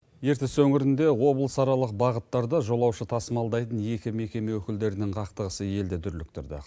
ертіс өңірінде облысаралық бағыттарда жолаушы тасымалдайтын екі мекеме өкілдерінің қақтығысы елді дүрліктірді